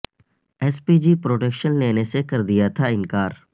S P G protection لینے سے کر دیا تھا انکار